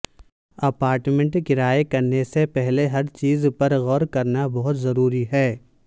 apartment کرایہ کرنے سے پہلے ہر چیز پر غور کرنا بہت ضروری ہے